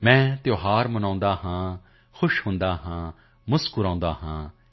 ਮੈਂ ਤਿਉਹਾਰ ਮਨਾਤਾ ਹੂੰ ਖੁਸ਼ ਹੋਤਾ ਹੂੰ ਮੁਸਕੁਰਾਤਾ ਹੂੰ